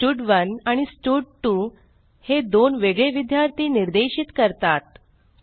हे स्टड1 आणि स्टड2 हे दोन वेगळे विद्यार्थी निर्देशित करतात